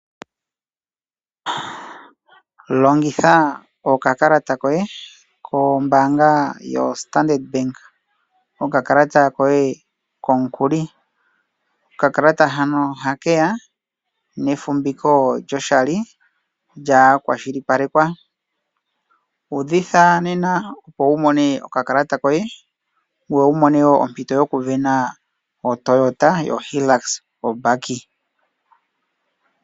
Longitha okakalata koye kombaanga yoStandard, okakalata koye komukuli. Okakalata hano oha keya nefumbiko lyoshali lyakwashilipalekwa. Uudhitha nena opo wu mone okakalata koye, ngoye wu mone woo ompito yokusindana oToyota yoHilux ombaki.